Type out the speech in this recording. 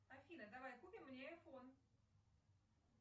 афина давай купим мне айфон